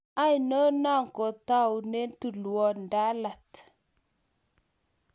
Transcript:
Aino no kotaune tulwop Ndalat.